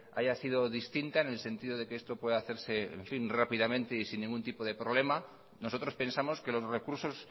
haya sido distinta en el sentido de que esto pueda hacerse rápidamente y sin ningún tipo de problema nosotros pensamos que los recursos